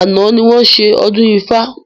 Àná ni wọn ṣe ọdún ifá